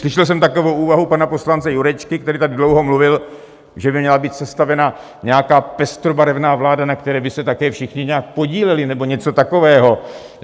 Slyšel jsem takovou úvahu pana poslance Jurečky, který tady dlouho mluvil, že by měla být sestavena nějaká pestrobarevná vláda, na které by se také všichni nějak podíleli, nebo něco takového.